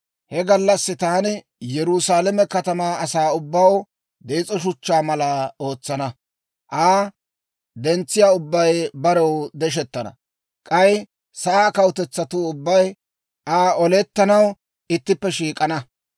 He gallassi taani Yerusaalame Katamaa asaa ubbaw dees'o shuchchaa mala ootsana; Aa dentsiyaa ubbay barew deshettana. K'ay sa'aa kawutetsatuu ubbay Aa olettanaw ittippe shiik'ana.